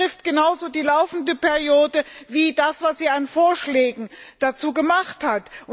Das betrifft genauso die laufende Periode wie das, was sie an Vorschlägen dazu gemacht hat.